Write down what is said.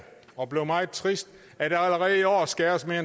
og bliver meget trist at der allerede i år skæres med